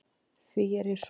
Því ég er svo